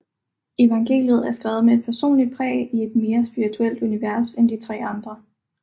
Evangeliet er skrevet med et personligt præg og i et mere spirituelt univers end de tre andre